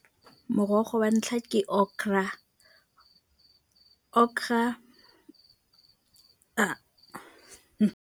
Morogo wa ntlha ke okra, okra .